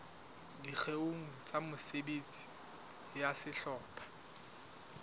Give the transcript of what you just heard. dikgeong tsa mesebetsi ya sehlopha